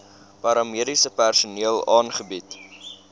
paramediese personeel aangebied